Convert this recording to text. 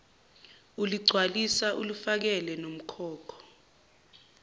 uligcwalisa ulifakele nomkhokho